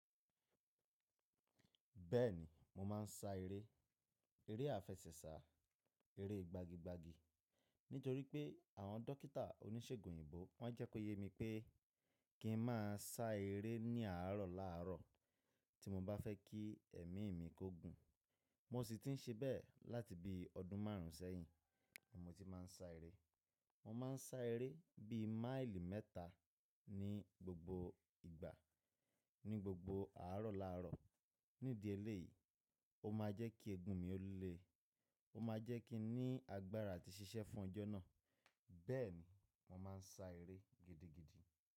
Bẹ́ẹ̀ni, mo máa ń sá eré, eré àfẹsẹ̀sà, eré gbagi gbagi nítorí pé àwọn dọkítà oníṣègùn òyìnbó wọ́n jẹ́ kó yé mi pé kí n má a sá eré ní àárọ̀ láàárọ̀ tí mo bá fẹ́ kí ẹ̀mí mi kó gùn. Mo sì ti ń ṣe bẹ́ẹ̀ láti bí ọdún márùn ún sẹ́yìn mo ti máa ń sá eré. Mo máa ń sá eré bí máìlì mẹ́ta ní gbogbo ìgbà, ní gbogbo àárọ̀ láàárọ̀. Nídi ẹlẹ́ yìí, ó máa jẹ́ kí eegun mi ó le, ó máa jẹ́ kí n ní agbára àti ṣiṣẹ́ fún ọjọ́ náà. Bẹ́ẹ̀ni, mo máa ń sá eré gidigidi.